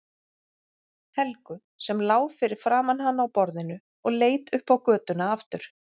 Helgu sem lá fyrir framan hann á borðinu og leit upp á götuna aftur.